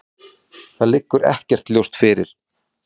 Þetta liggur ekkert ljóst fyrir.